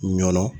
Ɲɔnɔ